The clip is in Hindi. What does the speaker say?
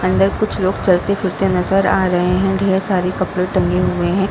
अंदर कुछ लोग चलते फिरते नजर आ रहे हैं। ढेर सारे कपड़े टंगे हुए हैं।